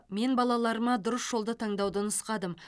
мен балаларыма дұрыс жолды таңдауды нұсқадым